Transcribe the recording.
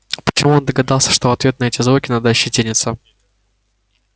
почему он догадался что в ответ на эти звуки надо ощетиниться